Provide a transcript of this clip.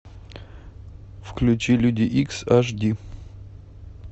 включи люди икс аш ди